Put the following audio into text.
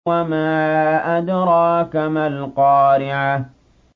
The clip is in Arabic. وَمَا أَدْرَاكَ مَا الْقَارِعَةُ